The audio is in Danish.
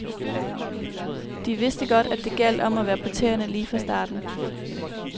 De vidste godt, at det gjaldt om at være på tæerne lige fra starten.